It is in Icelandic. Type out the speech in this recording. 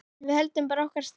Við höldum bara okkar striki.